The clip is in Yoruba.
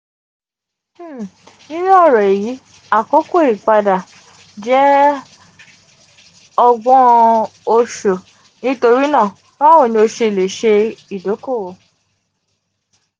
um ninu oro eyi akoko ipade jẹ ọgbọn um oṣu nitorinaa bawo ni o ṣe le ṣe idokowo?